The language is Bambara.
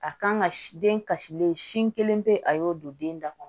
A kan ka siden kasilen sin kelen pe a y'o don den da kɔnɔ